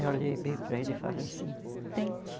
Eu olhei bem para ele e falei assim, tente.